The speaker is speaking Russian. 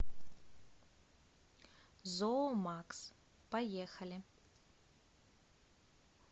зоомакс поехали